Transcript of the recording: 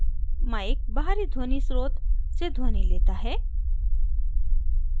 mic बाहरी ध्वनि स्रोत से ध्वनि लेता है